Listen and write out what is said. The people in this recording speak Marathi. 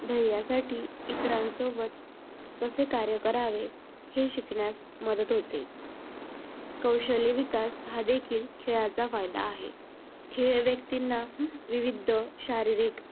ध्येयासाठी इतरांसोबत कसे कार्य करावे हे शिकण्यास मदत होते. कौशल्य विकास हा देखील खेळाचा फायदा आहे. खेळ व्यक्तींना विविध शारीरिक